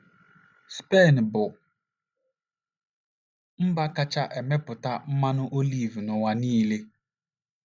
Spen bụ́ mba kacha emepụta mmanụ oliv n’ụwa niile.